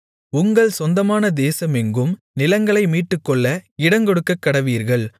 உங்கள் சொந்தமான தேசமெங்கும் நிலங்களை மீட்டுக்கொள்ள இடங்கொடுக்கக்கடவீர்கள்